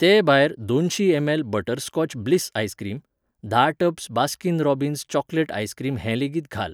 ते भायर दोनशी एमएल बटरस्कॉच ब्लिस आइसक्रीम, धा tubs Baskin Robbins chocolate ice cream हें लेगीत घाल.